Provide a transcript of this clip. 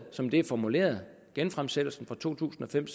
som det er formuleret genfremsættelsen fra to tusind og fem